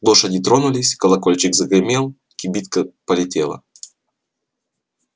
лошади тронулись колокольчик загремел кибитка полетела